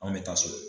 Anw bɛ taa so